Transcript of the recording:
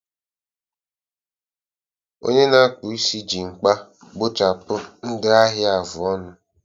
Onye na-akpụ isi ji mkpa gbuchapụ ndị ahịa afụ ọnụ